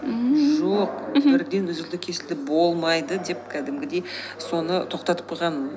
ммм жоқ мхм бірден үзілді кесілді болмайды деп кәдімгідей соны тоқтатып қойған